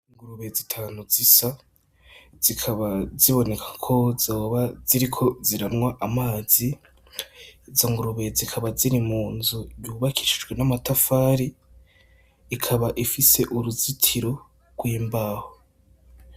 Ingurube zitanu zisa. Zikaba ziboneka ko zoba ziriko ziranywa amazi. Izo ngurube zikaba ziri munzu yubakishijwe n'amatafari. Ikaba ifise uruzitiro rw'imbaho.